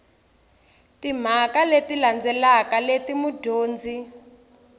timhaka leti landzelaka leti mudyondzi